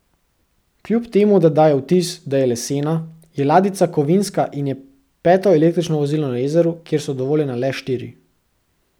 Kljub temu da daje vtis, da je lesena, je ladjica kovinska in je peto električno vozilo na jezeru, kjer so dovoljena le štiri.